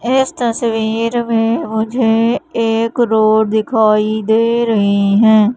इस तस्वीर में मुझे एक रोड दिखाई दे रही हैं।